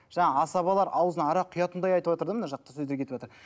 жаңа асабалар ауызына арақ құятындай айтыватыр да мына жақта сөздер кетіватыр